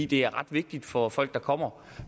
det er ret vigtigt for folk der kommer